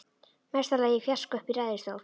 Mesta lagi í fjarska uppi í ræðustól.